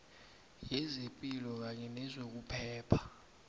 yezepilo kanye nezokuphepha